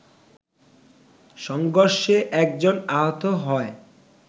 সংঘর্ষে একজন আহত হয়